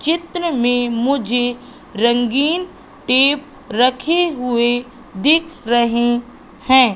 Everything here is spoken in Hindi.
चित्र में मुझे रंगीन टेप रखे हुए दिख रहे हैं।